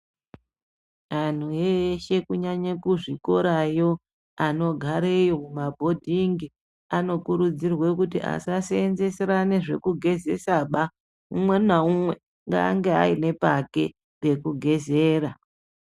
Anhu eshe kunyanye kuzvikorayo anogareyo kumabhodhingi anokurudzirwe kuti asasenzeserane zvekugezesaba umwe naumwe ngaange ane pake pekugezera.